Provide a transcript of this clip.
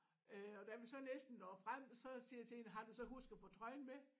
Øh og da vi så næsten når frem så siger jeg til hende har du så husket at få trøjen med